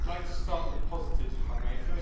I'd like to start with the positives, if I may.